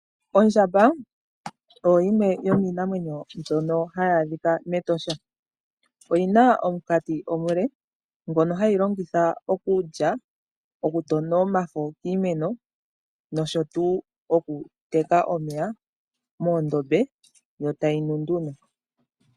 Ondjamba oyo yimwe yomiinamwenyo mbyono hayi adhika mEtosha, oyi na omunkati omule ngono hayi longitha okulya, okutona omafo kiimeno nosho wo okuteka omeya moondombe yo tayi nu nduno.